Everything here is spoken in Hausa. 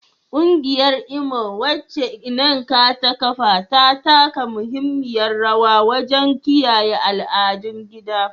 Kungiyar Imo, wacce Nneka ta kafa, ta taka muhimmiyar rawa wajen kiyaye al'adun gida.